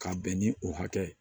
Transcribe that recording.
Ka bɛn ni o hakɛ ye